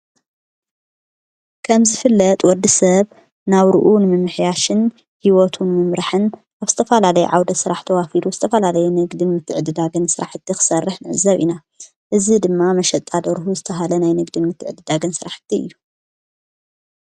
ከምዝ ዝፍለጥ ወዲ ሰብ ናውርኡን ምምሕያሽን ሕይወቱን ምምራሕን ኣብስተፋላለይ ዓውደ ሥራሕ ተዋፊዱ ዝተፋላለይ ነግድን ምትዕድዳገን ሥራሕ እቲ ኽሠርሕ ንዕዘብ ኢና እዝ ድማ መሸጣድ ደርሁ ዝተብሀለ ናይ ንግድን ምትዕድዳገን ሥራሕቲ እዩ።